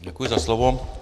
Děkuji za slovo.